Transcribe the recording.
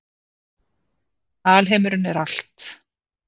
Alheimurinn er allt.